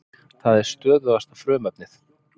Það er stöðugasta frumefnið.